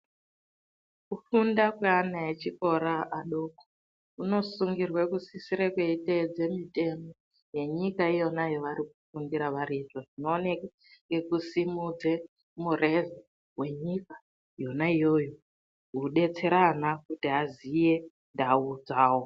Kufunda kwevana echikora adoko kunosungirwa kusisirwa kweitedzera mitemo yenyika iyona yavari kufundira variyo izvo zvinooneka nekusimudza mureza Wenyika yona iyoyo kudetsera ana kuti vazive ndau dzawo.